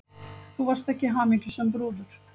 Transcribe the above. Þú varst ekki hamingjusöm brúður.